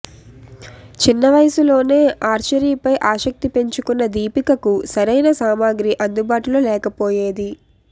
చిన్న వయస్సులోనే ఆర్చరీపై ఆసక్తి పెంచుకున్న దీపికకు సరైన సామాగ్రి అందుబాటులో లేకపోయేది